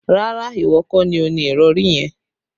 Rárá, ìwọ kọ́ ni o ni ìrọ̀rí yẹn